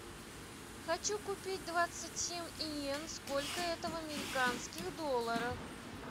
хочу купить двадцать семь йен сколько это в американских долларах